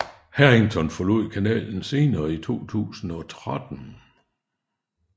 Harrington forlod kanalen senere i 2013